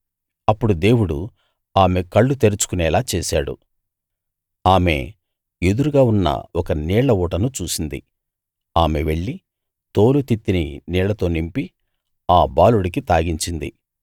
అప్పుడు దేవుడు ఆమె కళ్ళు తెరుచుకోనేలా చేశాడు ఆమె ఎదురుగా ఉన్న ఒక నీళ్ళ ఊటను చూసింది ఆమె వెళ్ళి తోలు తిత్తిని నీళ్ళతో నింపి ఆ బాలుడికి తాగించింది